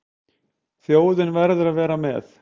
Þjóðin verði að vera með.